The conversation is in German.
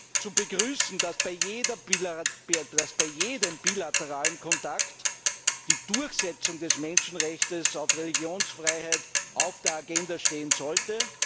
Daher ist zu begrüßen, dass bei jedem bilateralen Kontakt die Durchsetzung des Menschenrechts auf Religionsfreiheit auf der Agenda stehen sollte.